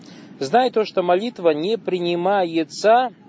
знаю то что молитва не принимается